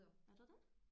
Er der det?